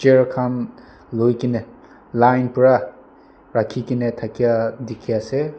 chair khan loi ke ne line para rakhi ke na thakia dikhi ase.